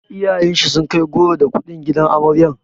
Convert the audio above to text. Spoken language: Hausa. Iyayen shi sun kai goro da kuɗi gidan amaryar.